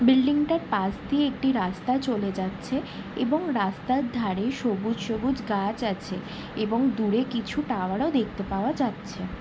Building টার পাশ দিয়ে একটি রাস্তা চলে যাচ্ছে এবং রাস্তার ধারে সবুজ সবুজ গাছ আছে এবং দূরে কিছু টাওয়ার ও দেখতে পাওয়া যাচ্ছে।